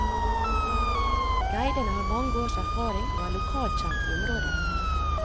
Guidene har mange års erfaring og er lokalkjente i området.